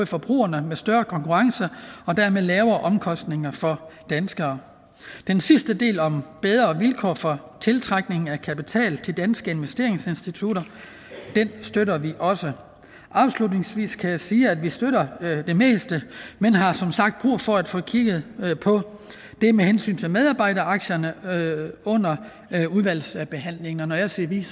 forbrugerne med større konkurrence og dermed lavere omkostninger for danskere den sidste del om bedre vilkår for tiltrækning af kapital til danske investeringsinstitutter støtter vi også afslutningsvis kan jeg sige at vi støtter det meste men har som sagt brug for at få kigget på det med medarbejderaktierne under udvalgsbehandlingen og når jeg siger vi er